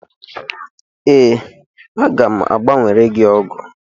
Ee, aga m a gbanwere gị ọgụ.